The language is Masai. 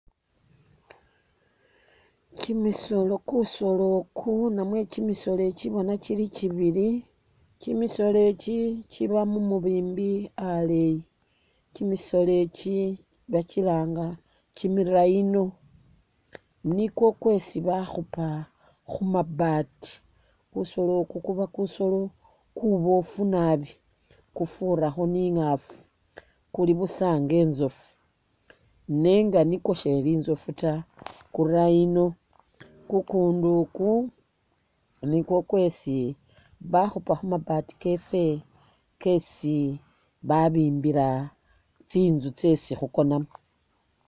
Kyi misolo kusolo iku namwe kyimisolo i kyi bona kyili kyibili, kyimisolo i kyi kyiba mu mubimbi aleeyi, kyimisolo i kyi ba kyilanga kyimi rhino, nikwo kwesi bakhupa khu mabaati kusolo iku kuba kusolo kuboofu naabi kufurakho ni ingaafu kuli busa inga inzofu nenga nikwo sheli inzofu ta, ku rhino kukundu iku nikwo kwesi bakhupa khumabaati keffe kesi babimbila tsi nzu tsesi khukonamo.